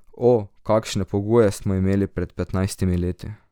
O, kakšne pogoje smo imeli pred petnajstimi leti.